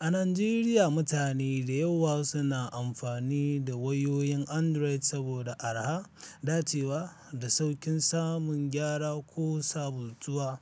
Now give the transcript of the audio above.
A Najeriya, mutane da yawa suna amfani da wayoyin Android saboda araha, dacewa, da sauƙin samun gyara ko sabontuwa.